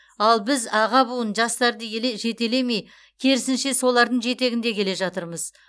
ал біз аға буын жастарды еле жетелемей керісінше солардың жетегінде келе жатырмыз